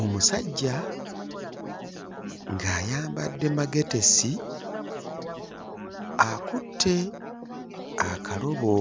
Omusajja ng'ayambadde magetesi akutte akalobo